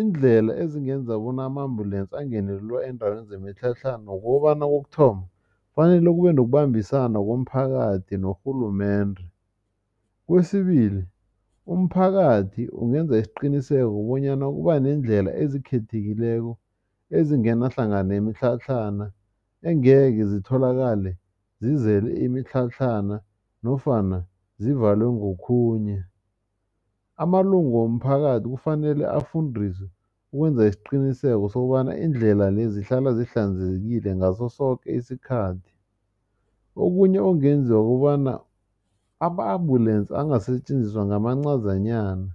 Iindlela ezingenza bona ama-ambulance angene lula eendaweni zemitlhatlhana nokobana kokuthoma kufanele kube nokubambisana komphakathi norhulumende. Kwesibili umphakathi ungenza isiqiniseko bonyana kuba neendlela ezikhethekileko ezingena hlangana nemitlhatlhana angeke zitholakale zizele imitlhatlhana nofana zivalwe ngokhunye. Amalunga womphakathi kufanele afundiswe ukwenza isiqiniseko sokobana iindlela lezi zihlala zihlanzekile ngaso soke isikhathi. Okunye okungenziwa kukobana ama-ambulance angasetjenziswa ngamancazanyana